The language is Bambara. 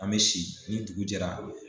An me si ni dugu jɛra